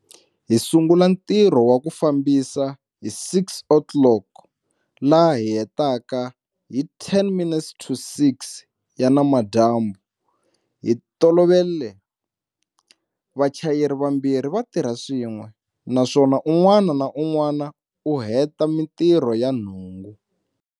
Hi sungula nti rho wa ku fambisa hi 6 o'clock laha hi hetaka hi 1o minutes to 6 ya namadyambu. Hi ntolovelo, vachayeri vambirhi va tirha swin'we, naswona un'wana na un'wana u heta mitirho ya nhungu.